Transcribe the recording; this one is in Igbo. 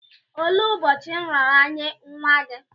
Olee ụbọchị nraranye nwa gị?